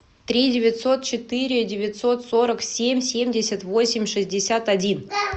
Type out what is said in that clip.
три девятьсот четыре девятьсот сорок семь семьдесят восемь шестьдесят один